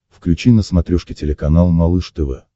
включи на смотрешке телеканал малыш тв